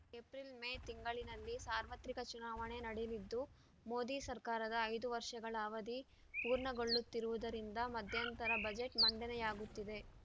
April May ತಿಂಗಳಿನಲ್ಲಿ ಸಾರ್ವತ್ರಿಕ ಚುನಾವಣೆ ನಡೆಲಿದ್ದು ಮೋದಿ ಸರ್ಕಾರದ ಐದು ವರ್ಷಗಳ ಅವಧಿ ಪೂರ್ಣಗೊಳ್ಳುತ್ತಿರುವುದರಿಂದ ಮಧ್ಯಂತರ ಬಜೆಟ್‌ ಮಂಡನೆಯಾಗುತ್ತಿದೆ